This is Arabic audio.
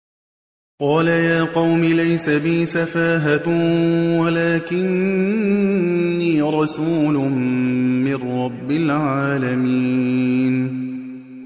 قَالَ يَا قَوْمِ لَيْسَ بِي سَفَاهَةٌ وَلَٰكِنِّي رَسُولٌ مِّن رَّبِّ الْعَالَمِينَ